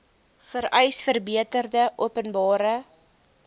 vereis verbeterde openbare